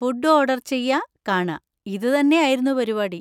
Food order ചെയ്യാ, കാണാ; ഇതുതന്നെ ആയിരുന്നു പരിപാടി.